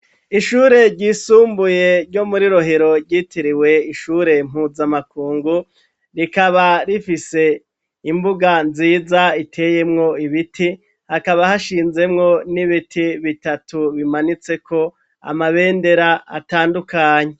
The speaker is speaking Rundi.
Ishure ryisumbuye ryo muri Rohero ryitiriwe ishure Mpuzamakungu, rikaba rifise imbuga nziza iteyemwo ibiti, hakaba hashinzemwo n'ibiti bitatu bimanitseko amabendera atandukanye.